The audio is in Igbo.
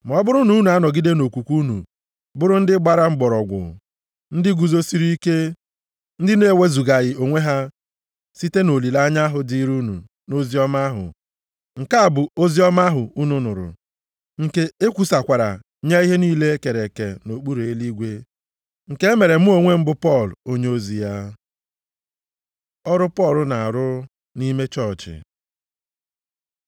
Ma ọ bụrụ na unu anọgide nʼokwukwe unu, bụrụ ndị gbara mgbọrọgwụ, ndị guzosiri ike, ndị na-ewezugaghị onwe ha site nʼolileanya ahụ dịrị unu nʼoziọma ahụ. Nke a bụ oziọma ahụ unu nụrụ, nke ekwusakwara nye ihe niile e kere eke nʼokpuru eluigwe, nke e mere mụ onwe m bụ Pọl, onyeozi ya. Ọrụ Pọl na-arụ nʼime chọọchị